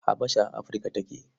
Habasha a Afirka take.